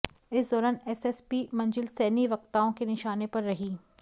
इस दौरान एसएसपी मंजिल सैनी वक्ताओं के निशाने पर रहीं